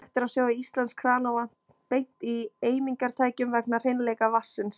Hægt er að sjóða íslenskt kranavatn beint í eimingartækjum vegna hreinleika vatnsins.